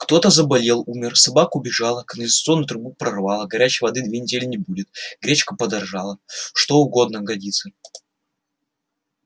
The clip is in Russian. кто-то заболел умер собака убежала канализационную трубу прорвало горячей воды две недели не будет гречка подорожала что угодно годится